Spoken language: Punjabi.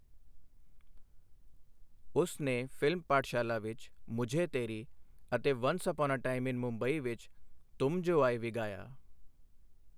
ਉਸ ਨੇ ਫਿਲਮ ਪਾਠਸ਼ਾਲਾ ਵਿੱਚ 'ਮੁਝੇ ਤੇਰੀ' ਅਤੇ 'once upon a time in Mumbai' ਵਿੱਚ 'ਤੁਮ ਜੋ ਆਏ' ਵੀ ਗਾਇਆ।